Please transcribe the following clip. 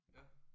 Ja